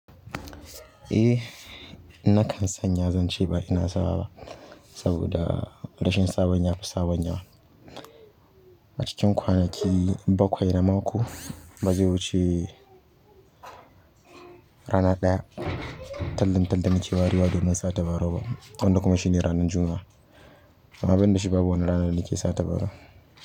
Eh na kan sanya zance ba ina sawa ba saboda rashin sabon yafi sabon yawan. A cikin kwanaki bakwai na mako baze wuce kwana ɗaya tallin talk da na ke warewa na ke sa tabarau ba, wanda kuma shine ranan juma'a. Amman banda shi ba wanj rana da nake sa tabarau.